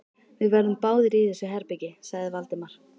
Við verðum báðir í þessu herbergi sagði Valdimar.